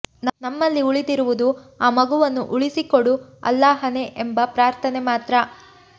ನಮ್ಮಲ್ಲಿ ಉಳಿದಿರುವುದು ಆ ಮಗುವನ್ನು ಉಳಿಸಿಕೊಡು ಅಲ್ಲಾಹನೇ ಎಂಬ ಪ್ರಾರ್ಥನೆ ಮಾತ್ರ